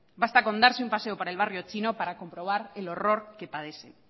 basta con darse un paseo por el barrio chino para comprobar el horror que padecen